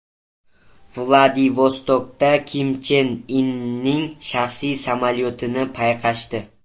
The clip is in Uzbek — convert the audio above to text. Vladivostokda Kim Chen Inning shaxsiy samolyotini payqashdi.